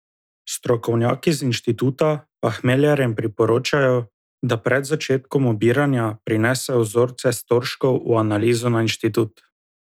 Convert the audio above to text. Strokovnjaki z inštituta pa hmeljarjem priporočajo, da pred začetkom obiranja prinesejo vzorce storžkov v analizo na inštitut.